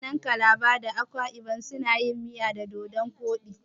Mutanen calabar da akwa ibon suna yin miya da dodon koɗi.